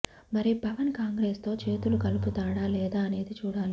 మరి పవన్ కాంగ్రెస్ తో చేతులు కలుపుతాడా లేదా అనేది చూడాలి